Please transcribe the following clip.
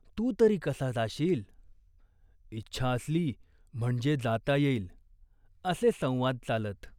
तू तरी कसा जाशील ?" "इच्छा असली म्हणजे जाता येईल !" असे संवाद चालत.